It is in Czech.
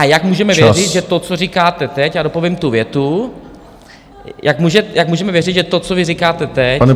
A jak můžeme věřit, že to, co říkáte teď - já dopovím tu větu, jak můžeme věřit, že to, co vy říkáte teď, bude...